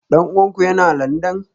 Dan uwanku yana Landan?